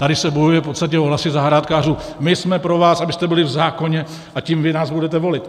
Tady se bojuje v podstatě o hlasy zahrádkářů: My jsme pro vás, abyste byli v zákoně, a tím vy nás budete volit.